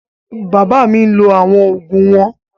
Bàbá mi ń lọ àwọn ògùn wọn